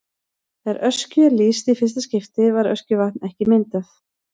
Þegar Öskju er lýst í fyrsta skipti var Öskjuvatn ekki myndað.